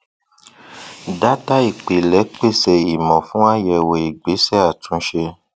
dátà ìpilẹ pèsè ìmọ fún àyẹwò ìgbésẹ àtúnṣe